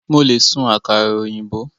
Mo le sun àkàrà òyìnbó